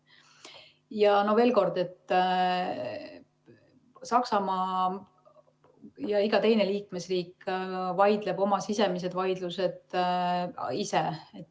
Ja veel kord, Saksamaa ja iga teine liikmesriik vaidleb oma sisemised vaidlused ise.